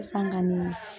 San kɔni